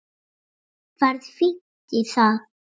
Ferð fínt í það.